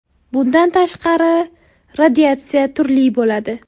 Bundan tashqari, radiatsiya turli bo‘ladi.